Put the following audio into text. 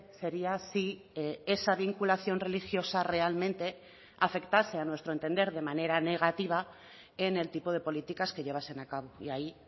sería si esa vinculación religiosa realmente afectase a nuestro entender de manera negativa en el tipo de políticas que llevasen a cabo y ahí